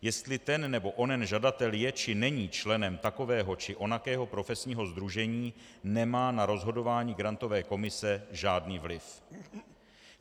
Jestli ten nebo onen žadatel je či není členem takového či onakého profesního sdružení, nemá na rozhodování grantové komise žádný vliv.